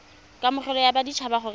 kamogelo ya batshabi gore a